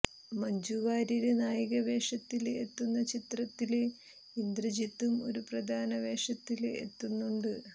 മഞ്ജു വാര്യര് നായിക വേഷത്തില് എത്തുന്ന ചിത്രത്തില് ഇന്ദ്രജിത്തും ഒരു പ്രധാന വേഷത്തില് എത്തുന്നുണ്ട്